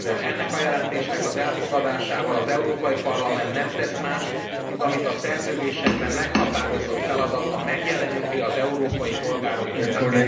Ennek a jelentésnek az elfogadásával az Európai Parlament nem tesz mást, mint ami a szerződésekben meghatározott feladata megjeleníti az európai polgárok érdekeit.